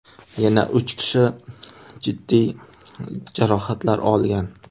Yana uch kishi jiddiy jarohatlar olgan.